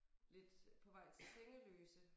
Lidt på vej til Sengeløse